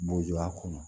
Bo a kɔnɔ